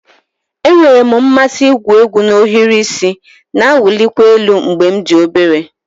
Enwere m mmasị igwu egwu na ohiri isi na-awụlikwa elu mgbe m dị obere